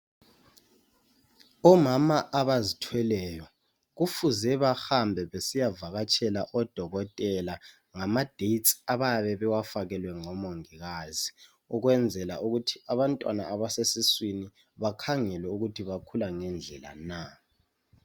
Omama abazithweleyo kufuze bahambe besiyavakatshela odokotela ngamadates abayabe bewafakelwe ngomongikazi ukwenzela ukuthi abamtwana abasesiswini bakhangelwe ukuthi bakhula ngendlela na.